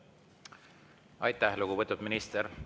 Aitäh, lugupeetud minister!